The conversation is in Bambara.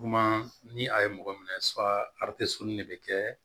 Kuma ni a ye mɔgɔ minɛ de bɛ kɛ